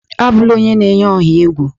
Abula onye na-eyi ọha egwu!